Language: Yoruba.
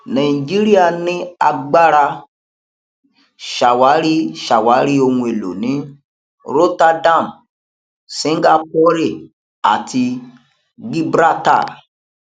nàìjíríà ní agbára ṣàwárí ṣàwárí ohun èlò ní rotterdam singapore àti gibraltar